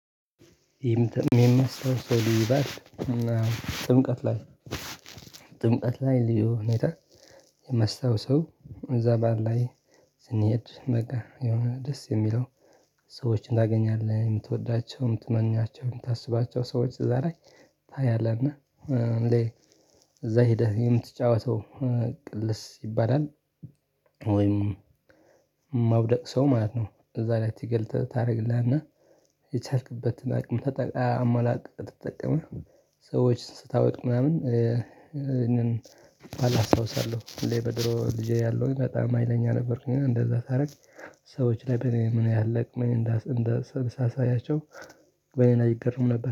የሚመስለው ሰው ይባል አና ጥምቀት ላይ ጥምቀት ላይ ሊዮ ሁኔታ የማስታውሰው እዛ ባል ላይ ስንሄድ በቃ የሆነ ደስ የሚለው ሰዎችን ታገኛለህ የምትወዳቸውም ትመኛቸውም የምታስባቸው አዛ ላይ ታያለህ እና ሁሌ እዛ ሄደህ የምትጫወተው ቅልስ ይባላል ወይም ማብደቅ ሰው ማለት ነው እዛ ላይ ትገልጥ ታደርግልህና የቻልክበትን አቅም አማላቅ ተጠቀመህ ሰዎችን ስታወቅ ምናምን እንደን ባላስታውሳለሁ ሁሌ በድሮ ልጄ ያለሁኝ በጣም ሀይለኛ ነበርኩኝ እንደዛ ሳረግ ሰዎች ላይ በኔ ምን ያለቅመኝ እንዳሰብሰብ ሳሳያቸው በኔ ላይ ይገረሙ ነበር።